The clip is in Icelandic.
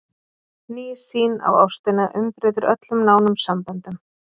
Ný sýn á ástina umbreytir öllum nánum samböndum.